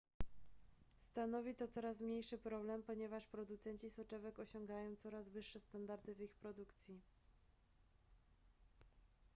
stanowi to coraz mniejszy problem ponieważ producenci soczewek osiągają coraz wyższe standardy w ich produkcji